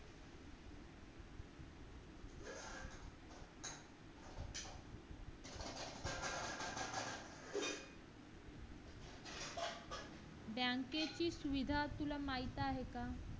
bank ची सुविधा तुला माहित आहे का?